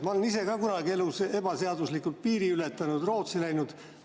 Ma olen ise ka kunagi elus ebaseaduslikult piiri ületanud, Rootsi läinud.